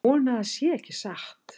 Vona að það sé ekki satt